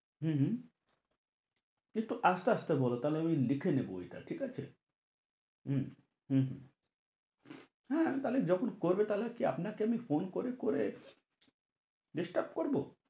হম হম একটু আস্তে আস্তে বলো তা হলে আমি লিখে নেব ওইটা ঠিক আছে হম হম হ্যাঁ তাহলে যখন করবে তাহলে আপনাকে আমি phone করে করে disturb করবো?